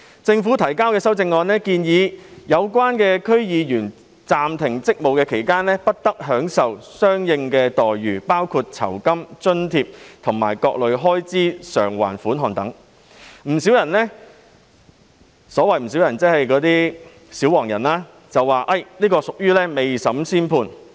政府提交的修正案建議，區議員在暫停職務期間不得享受相應待遇，包括酬金、津貼及各類開支償還款額等，不少人——即那些"小黃人"——批評這是未審先判。